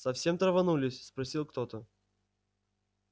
совсем траванулись спросил кто-то